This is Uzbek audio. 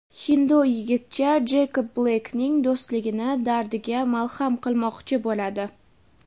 hindu yigitcha Jeykob Bleykning do‘stligini dardiga malham qilmoqchi bo‘ladi.